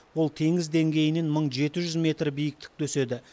ол теңіз деңгейінен мың жеті жүз метр биіктікте өседі